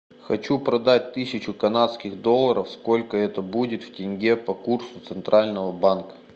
хочу продать тысячу канадских долларов сколько это будет в тенге по курсу центрального банка